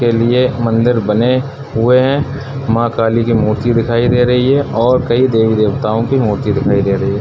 के लिए मंदिर बने हुए हैं मां काली के मूर्ति दिखाई दे रही है और कई देवी-देवताओं के मूर्ति दिखाई दे रही है।